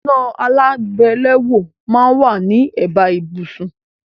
Iná alágbèléwọ́ máà ń wá ní ẹ̀bá ibùsùn